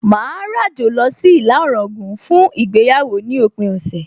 Màá ràjò lọ sí ìlà Ọ̀ràngún fún ìgbéyàwó ní òpin ọ̀sẹ̀